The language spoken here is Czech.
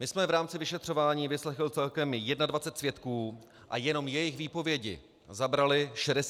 My jsme v rámci vyšetřování vyslechli celkem 21 svědků a jenom jejich výpovědi zabraly 64 hodin.